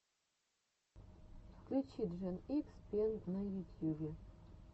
включи джен икс пен на ютьюбе